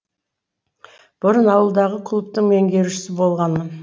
бұрын ауылдағы клубтың меңгерушісі болғанмын